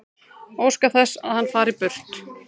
Óska þess að hann fari burt.